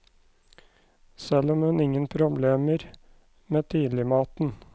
Selv har hun ingen problemer med tidligmaten.